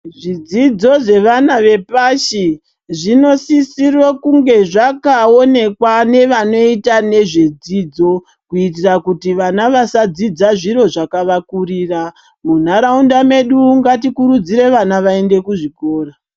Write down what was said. Zvidzido zvevana vepashi zvinosisire kunge zvakaonekwa nevanoita nezvedzidzo. Kuitire kuti vana vasadzidza zviro zvakavakurira .Munharaunda mwedu ngatikurudzire vana vaende kuzvikora.